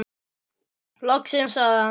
Loksins sagði hann.